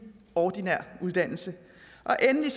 ordinær uddannelse og endelig